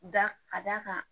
Da ka d'a kan